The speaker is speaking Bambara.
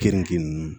Keninge ninnu